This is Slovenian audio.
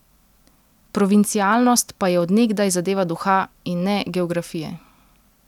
Provincialnost pa je od nekdaj zadeva duha, in ne geografije.